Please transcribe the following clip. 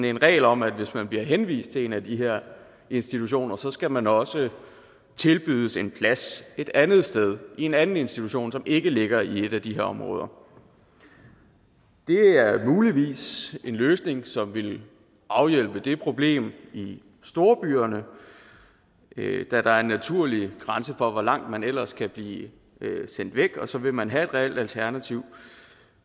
en regel om at hvis man bliver henvist til en af de her institutioner skal man også tilbydes en plads et andet sted i en anden institution som ikke ligger i et af de her områder det er muligvis en løsning som vil afhjælpe det problem i storbyerne da der er en naturlig grænse for hvor langt man ellers kan blive sendt væk og så vil man have et reelt alternativ